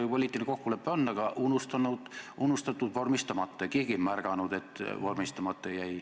Poliitiline kokkulepe on olemas, aga unustatud vormistamata, ja keegi ei märganud, et see jäi vormistamata.